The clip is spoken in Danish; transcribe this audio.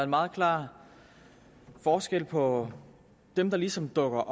meget klar forskel på dem der ligesom dukker